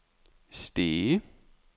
Stege